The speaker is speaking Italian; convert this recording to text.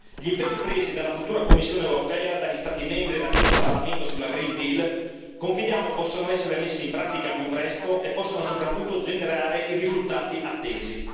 Gli impegni presi dalla futura Commissione europea, dagli Stati membri e da questo Parlamento sul Green Deal confidiamo possano essere messi in pratica al più presto e possano soprattutto generare i risultati attesi.